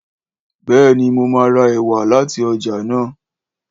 Béèni, mo má ra èwà láti ọjà náà.